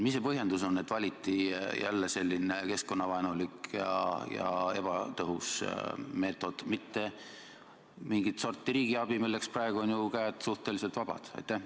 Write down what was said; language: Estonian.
Mis see põhjendus on, et valiti jälle selline keskkonnavaenulik ja ebatõhus meetod, mitte mingit sorti riigiabi, milleks praegu on ju käed suhteliselt vabad?